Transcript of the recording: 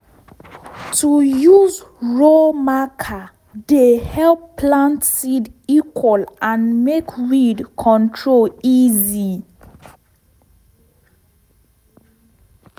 to use row marker dey help plant seed equal and make weed control easy